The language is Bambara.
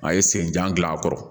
A ye sen jan gilan a kɔrɔ